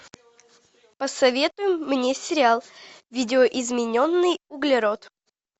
посоветуй мне сериал видоизмененный углерод